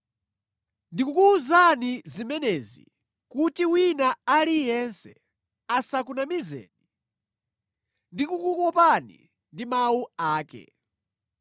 Ndikukuwuzani zimenezi kuti wina aliyense asakunamizeni ndi kukukopani ndi mawu ake.